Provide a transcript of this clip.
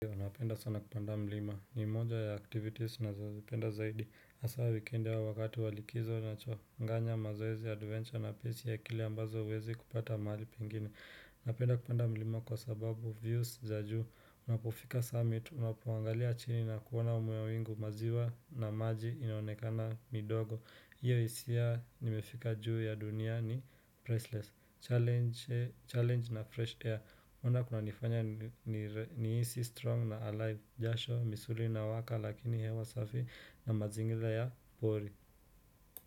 Napenda sana kupanda mlima, ni moja ya activities nazozipenda zaidi hasa wikendi au wakati wa likizo nachanganya mazoezi, adventure na pesi ya kile ambazo huwezi kupata mahali pengine napenda kupanda mlima kwa sababu views za juu Unapofika summit, unapoangalia chini na kuona mawingu, maziwa na maji inonekana midogo hiyo hisia nimefika juu ya dunia ni priceless. Challenge na fresh air no wonder kunanifanya nihisi strong na alive jasho, misuli inawaka lakini hewa safi na mazingira ya pori.